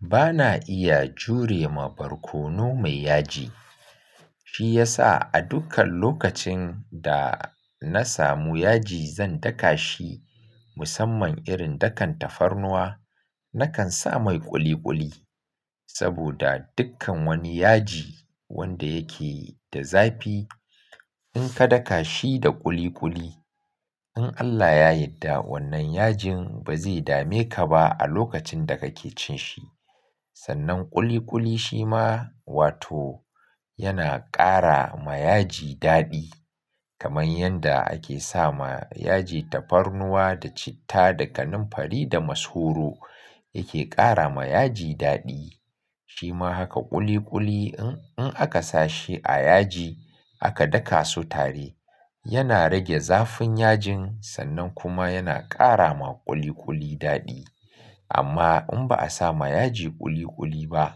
Bana iya jure ma barkono mai yaji. Shi yasa a dukkan lokacin da na samu yaji zan daka shi musamman irin dakan tafarnuwa, nakan sa mai ƙuli ƙuli. Saboda dukkan wani yaji wanda yake da zafi in ka daka shi da ƙuli ƙuli in Allah ya yadda wannan yajin ba zai dame ka ba a lokacin da kake cin shi. Sannan ƙuli ƙuli shi ma wato yana ƙara ma yaji daɗi kamar yanda ake sa ma yaji tafarnuwa da citta da kanamfari da masoro yake ƙara ma yaji daɗi. Shi ma haka ƙuli ƙuli in in aka sa shi a yaji aka daka su tare yana rage zafin yajin sannan kuma yana ƙara ma ƙuli ƙuli daɗi. Amma in ba a sa ma yaji ƙuli ƙuli ba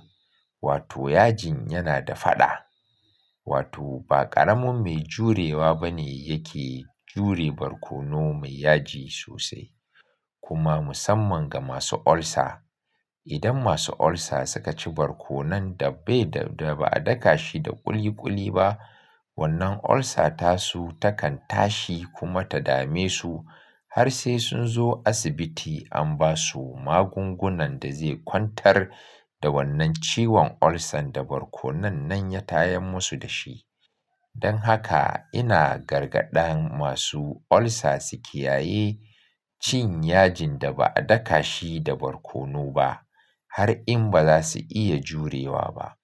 wato yajin yana da faɗa. Wato ba ƙaramin mai jurewa bane yake jure barkono mai yaji sosai. Kuma musamman ga masu ulcer idan masu ulcer suka ci barkono dabbe da ba a daka shi da ƙuli ƙuli ba wannan ulcer tasu takan tashi kuma ta dame su har sai sun zo asibiti an ba su magungunan da zai kwantar da wannan ciwon ulcer da barkono nan ya tayan musu da shi. Don haka ina gargaɗan masu ulcer su kiyaye cin yajin da ba a daka shi da barkono ba har in ba za su iya jurewa ba.